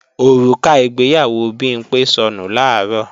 Òrùka ìgbéyàwó Bimpé sọnù làárọ̀